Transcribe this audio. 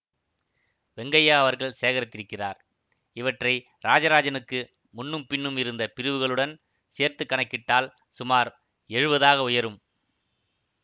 வெங்கய்யா அவர்கள் சேகரித்திருக்கிறார் இவற்றை இராஜராஜனுக்கு முன்னும் பின்னும் இருந்த பிரிவுகளுடன் சேர்த்து கணக்கிட்டால் சுமார் எழுவதாக உயரும்